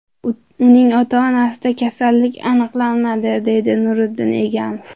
Uning ota-onasida kasallik aniqlanmadi”, – deydi Nuriddin Egamov.